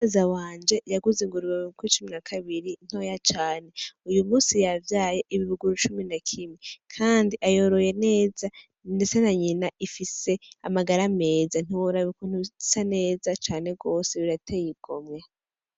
Za wanje yaguze inguruweuko icumi na kabiri ntoya cane uyu musi yavyaye ibibuguru cumi na kimi, kandi ayoroye neza, ndetse na nyina ifise amagara ameza ntiworabika ntusa neza cane rwose biratey igo mwe.